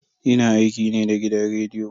Ina aiki ne da gidan rediyo.